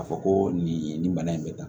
Ka fɔ ko nin bana in bɛ tan